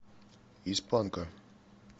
из панка